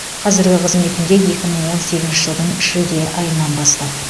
қазіргі қызметінде екі мың он сегізінші жылдың шілде айынан бастап